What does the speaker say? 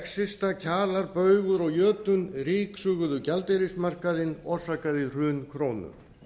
exista kjalar baugur og jötunn ryksuguðu gjaldeyrismarkaðinn og orsakaði hrun krónunnar